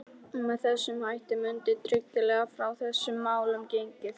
Með þessum hætti mundi tryggilega frá þessum málum gengið.